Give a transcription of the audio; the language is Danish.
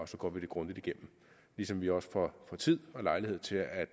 så går vi det grundigt igennem ligesom vi også får tid og lejlighed til at